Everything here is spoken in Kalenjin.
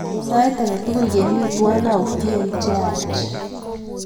Sait ake tukul kemi twai autye che yaach.